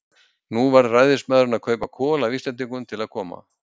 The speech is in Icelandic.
Nú varð ræðismaðurinn að kaupa kol af Íslendingum til að koma